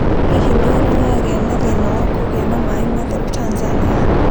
Hihi nĩ ũrĩ wagĩa na thĩĩna wa kũgĩa na maaĩ matheru Tanzania?